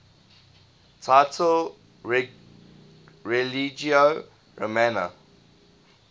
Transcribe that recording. title religio romana